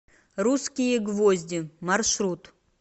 русские гвозди маршрут